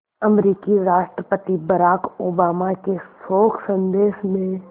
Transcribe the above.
अमरीकी राष्ट्रपति Barack Obama के शोक संदेश में